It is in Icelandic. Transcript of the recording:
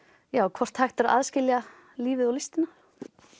hvort hægt er að aðskilja lífið og listina